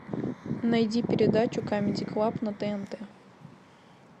найди передачу камеди клаб на тнт